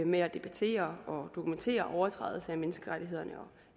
med at debattere og dokumentere overtrædelse af menneskerettighederne og